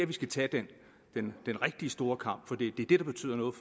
vi skal tage den rigtig store kamp for det er det der betyder noget